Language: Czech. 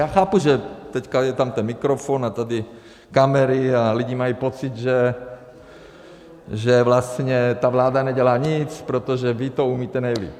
Já chápu, že teď tam je ten mikrofon a tady kamery a lidi mají pocit, že vlastně ta vláda nedělá nic, protože vy to umíte nejlíp.